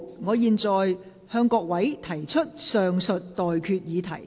我現在向各位提出上述待決議題。